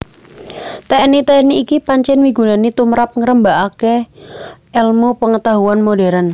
Teknik teknik iki pancen migunani tumrap ngrembakane elmu pengetahuan modern